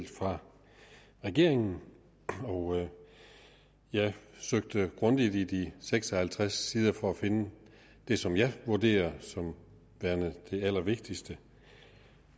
fra regeringen og jeg søgte grundigt i de seks og halvtreds sider for at finde det som jeg vurderer som værende det allervigtigste